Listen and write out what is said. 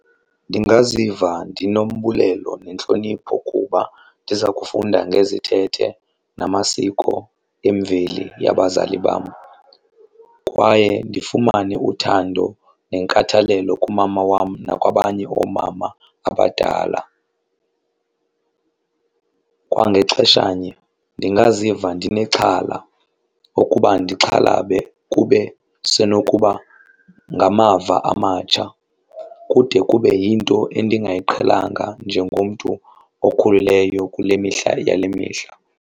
Ndingaziva ndinombulelo nentlonipho kuba ndiza kufunda ngezithethe namasiko emveli yabazali bam kwaye ndifumane uthando nenkathalelo kumama wam nakwabanye oomama abadala. Kwangexeshanye ndingaziva ndinexhala ukuba ndixhalabe kube sinokuba ngamava amatsha kude kube yinto endingayiqhelanga njengomntu okhuleleyo kule mihla yale mihla.